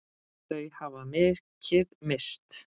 Þau hafa mikið misst.